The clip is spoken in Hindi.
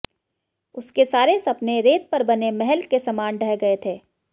उसके सारे सपने रेत पर बने महल के समान ढह गये थे